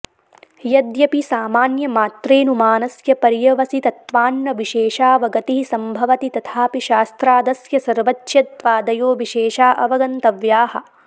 यद्यपि सामान्यमात्रेऽनुमानस्य पर्यवसितत्वान्न विशेषावगतिः सम्भवति तथापि शास्त्रादस्य सर्वज्ञत्वादयो विशेषा अवगन्तव्याः